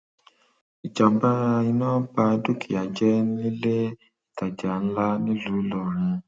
ìjàmbá iná ba dúkìá jẹ nílé ìtajà ńlá nílùú ìlọrin